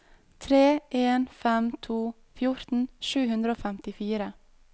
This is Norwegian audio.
tre en fem to fjorten sju hundre og femtifire